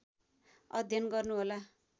अध्ययन गर्नुहोला